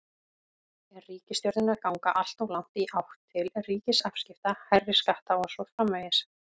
Er ríkisstjórnin að ganga alltof langt í átt til ríkisafskipta, hærri skatta og svo framvegis?